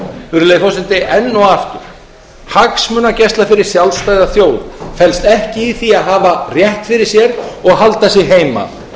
virðulegi forseti enn og aftur hagsmunagæsla fyrir sjálfstæða þjóð felst ekki í því að hafa rétt fyrir sér og halda sig heima